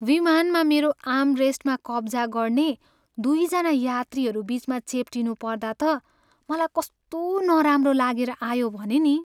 विमानमा मेरो आर्मरेस्टमा कब्जा गर्ने दुईजना यात्रुहरू बिचमा चेप्टिनु पर्दा त मलाई कस्तो नराम्रो लागेर आयो भने नि।